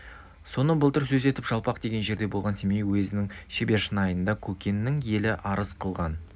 соны былтыр сөз етіп жалпақ деген жерде болған семей уезінің шербешнайында көкеннің елі арыз қылған